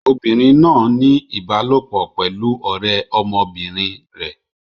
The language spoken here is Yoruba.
Obìnrin náà ń ní ìbálòpọ̀ pẹ̀lú ọ̀rẹ́ ọmọbìnrin rẹ̀.